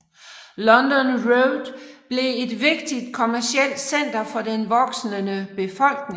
London Road blev et vigtigt kommercielt center for den voksende befolkning